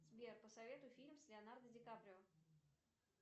сбер посоветуй фильм с леонардо дикаприо